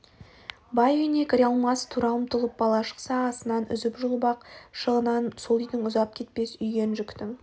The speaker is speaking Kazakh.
бай үйіне кіре алмас тұра ұмтылып бала шықса асынан үзіп-жұлып ық жағынан сол үйдің ұзап кетпес үйген жүктің